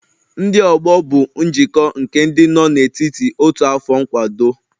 Ndị ọgbọ bụ njikọ nke ndị nọ n'etiti otu afọ nkwado